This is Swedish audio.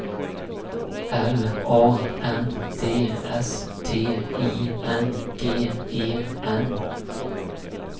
L A N D S T I N G E N